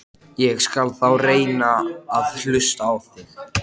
Ég skal þá reyna að hlusta á þig.